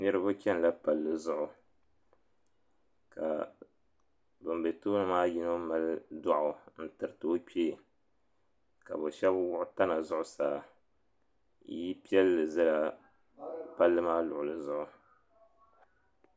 Niriba chɛnila palli zuɣu ka ŋun be tooni maa yino m mali dɔɣu n tiriti o kpee ka bɛ shɛba wuɣi tana zuɣusaa yilipiɛlli zala palli maa luɣuli zuɣu.